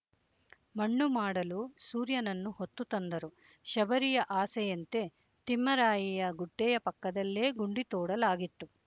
ಮಣ್ಣು ಮಾಡಲು ಸೂರ್ಯನನ್ನು ಹೊತ್ತು ತಂದರು ಶಬರಿಯ ಆಸೆಯಂತೆ ತಿಮ್ಮರಾಯಿಯ ಗುಡ್ಡೆಯ ಪಕ್ಕದಲ್ಲೇ ಗುಂಡಿ ತೋಡಲಾಗಿತ್ತು